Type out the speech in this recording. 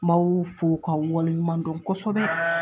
Maaw fo kaw waleɲumandon kosɛbɛ.